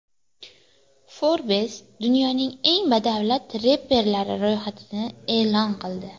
Forbes dunyoning eng badavlat reperlari ro‘yxatini e’lon qildi.